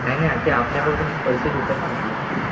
नाही ते आपल्याकडून पैसे घेतात म्हटलं.